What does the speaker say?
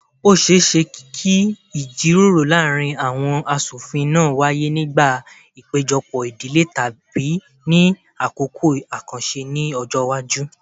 Ó ṣeé ṣe kí ìjíròrò láàárín àwọn aṣofin náà wáyé nígbà ìpéjọpọ̀ ìdílé tàbí ní àkókò àkànṣe ní ọjọ́ iwájú